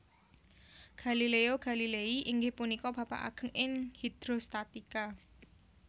Galileo Galilei inggih punika bapak ageng ing hidrostatika